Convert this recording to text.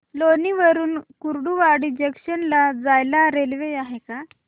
लोणी वरून कुर्डुवाडी जंक्शन ला जायला रेल्वे आहे का